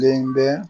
Den bɛ